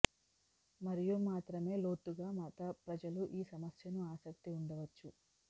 మరియు మాత్రమే లోతుగా మత ప్రజలు ఈ సమస్యను ఆసక్తి ఉండవచ్చు